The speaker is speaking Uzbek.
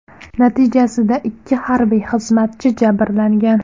Natijasida ikki harbiy xizmatchi jabrlangan.